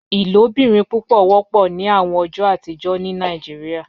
Ilobirin pupọ wọpọ ni awọn ọjọ atijọ ni Nigeria